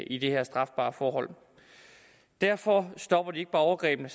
i det her strafbare forhold derfor stopper de ikke bare overgrebene